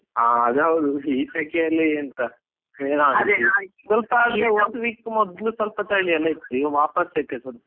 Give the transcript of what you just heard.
ಹಾ ಅದ್ ಹೌದು ಬಿಡಿ, ಈ ಸೆಕೆಯಲ್ಲಿ ಎಂತ ಏನಾಗುದಿಲ್ಲ ಸ್ವಲ್ಪ ಆದ್ರೆ one week ಮೊದ್ಲು ಸ್ವಲ್ಪ ಚಳಿ ಎಲ್ಲಾ ಇತ್ತು, ಈಗ ವಾಪಾಸ್ ಸೆಕೆ ಶುರು.